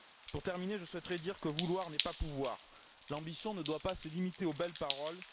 Pour terminer, je souhaiterais dire que vouloir n'est pas pouvoir. L'ambition ne doit pas se limiter aux belles paroles.